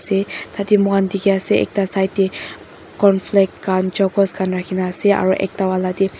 tate mukan diki ase ekta side de cornflakes kan chocos kan ase aro ekta vala de.